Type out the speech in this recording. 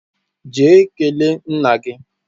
Jee kele nna gi!